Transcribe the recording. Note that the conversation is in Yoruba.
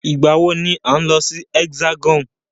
Ìgbà wọ ni à ń lọ sí Hexagon?